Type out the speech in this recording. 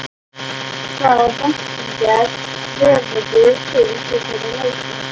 Hvaða væntingar hefurðu til þessara leikja?